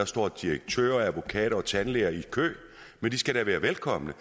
står direktører advokater og tandlæger i kø men de skal da være velkomne